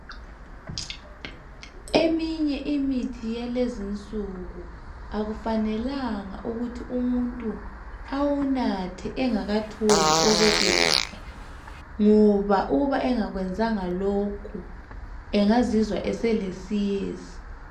Eminye imithi yalezinsuku akufanelanga ukuthi umuntu awunathe engakatholi okokudla ngoba uba engakwenzanga lokho, engazizwa eselesiyezi.